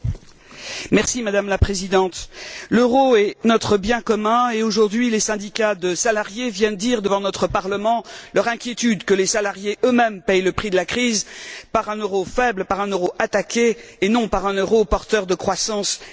Madame la Présidente, l'euro est notre bien commun et aujourd'hui, les syndicats de salariés viennent dire devant notre Parlement leur inquiétude que les salariés eux mêmes paient le prix de la crise par un euro faible, par un euro attaqué et non par un euro porteur de croissance et d'emplois.